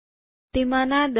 તેમાંના ૧૦